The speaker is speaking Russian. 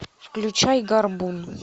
включай горбун